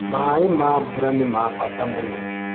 Maĩ ma mbura nĩmabata mũno.